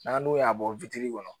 N'an dun y'a bɔ kɔnɔ